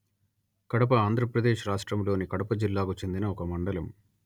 కడప ఆంధ్ర ప్రదేశ్ రాష్ట్రములోని కడప జిల్లాకు చెందిన ఒక మండలము